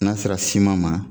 N'a sera ma